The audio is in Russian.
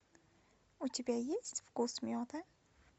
у тебя есть вкус меда